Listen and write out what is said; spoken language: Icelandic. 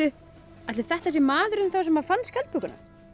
ætli þetta sé maðurinn sem fann skjaldbökuna